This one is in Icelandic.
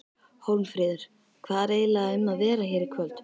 Hólmfríður, hvað er eiginlega um að vera hér í kvöld?